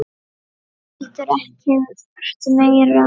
En heldur ekkert meira.